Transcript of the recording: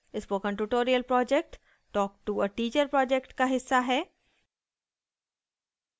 spoken tutorial project talk to a teacher project का हिस्सा है